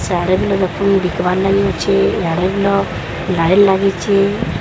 ଦେଖିବାର ଲାଗି ଅଛି ଲାଇନ ଲାଗିଚି ।